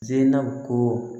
Ze na ko